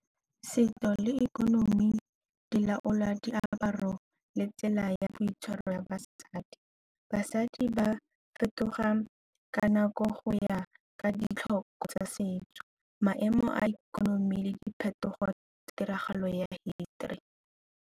Setso le ikonomi di laola diaparo le tsela ya boitshwaro ya basadi. Basadi ba fetoga ka nako go ya ka ditlhoko tsa setso, maemo a ikonomi, le diphetogo, tiragalo ya hisitori.